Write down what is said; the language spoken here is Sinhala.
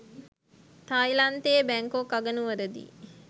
තායිලන්තයේ බැංකොක් අගනුවරදී